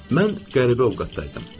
Mən qəribə ovqatdaydım.